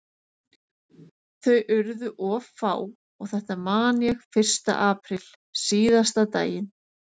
Þau urðu of fá og þetta man ég fyrsta apríl, síðasta daginn